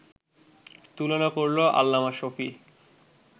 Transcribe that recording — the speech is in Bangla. তুলনা করলো আল্লামা শফী